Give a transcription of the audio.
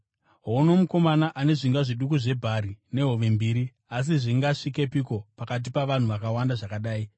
“Houno mukomana ane zvingwa zviduku zvebhari nehove mbiri, asi zvingasvikepiko pakati pavanhu vakawanda zvakadai?”